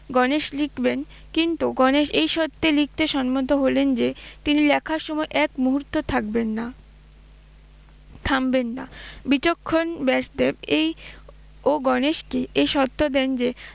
গণেশ লিখবেন, কিন্তু গণেশ এই শর্তে লিখতে সম্মত হলেন যে তিনি লেখার সময় এক মুহূর্ত থাকবেন না, থামবেন না। বিচক্ষণ ব্যাসদেব এই ও গণেশকে এই শর্ত দেন যে